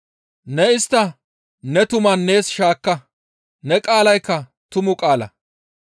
Ne istta ne tuman nees shaakka; ne qaalaykka tumu qaala.